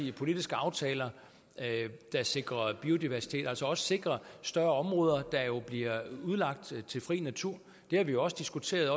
i politiske aftaler der sikrer biodiversitet og altså også sikrer at større områder bliver udlagt til fri natur det har vi jo også diskuteret